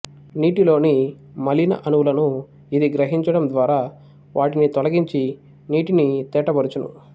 నీటిలోని మాలిన అణువులను ఇది గ్రహించడం ద్వారా వాటిని తొలగించినీటిని తేట పరచును